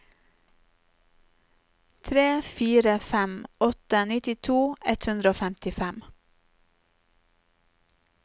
tre fire fem åtte nittito ett hundre og femtifem